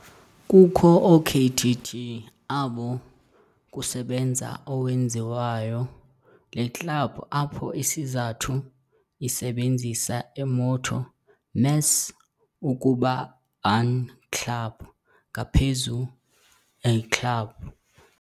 kukho okkt abo kusebenza owenziwayo le club, apho isizathu isebenzisa imotto "Més ukuba un club", ngaphezu a club.